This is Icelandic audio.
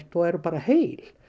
og eru bara heil